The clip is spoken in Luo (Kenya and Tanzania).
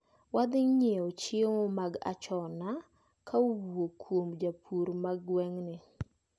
Wadhi nyiewo chiemo mag achona kowuok kuom jopur ma gweng`ni.